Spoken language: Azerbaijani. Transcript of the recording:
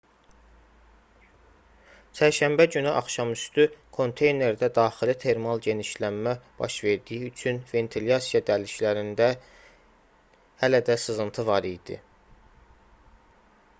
çərşənbə günü axşamüstü konteynerdə daxili termal genişlənmə baş verdiyi üçün ventilyasiya dəliklərində hələ də sızıntı var idi